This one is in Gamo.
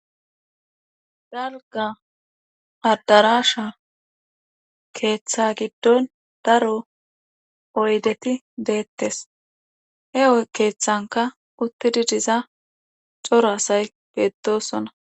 dalga addarasha keeththa giddon daro oydeti deettes heoy keeththanka uttidi diza coro asay beettosona